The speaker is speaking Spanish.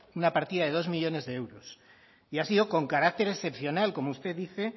una partida de dos millónes de euros y ha sido con carácter excepcional como usted dice